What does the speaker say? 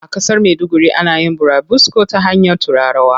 A ƙasar maiduguri ana yin burabusko ta hanyar turarawa.